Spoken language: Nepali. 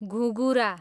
घुँँघुरा